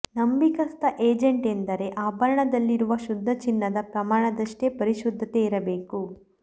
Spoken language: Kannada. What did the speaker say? ನಂಬಿಕಸ್ಥ ಏಜೆಂಟ್ ಎಂದರೆ ಆಭರಣದಲ್ಲಿರುವ ಶುದ್ಧ ಚಿನ್ನದ ಪ್ರಮಾಣದಷ್ಟೇ ಪರಿಶುದ್ಧತೆ ಇರಬೇಕು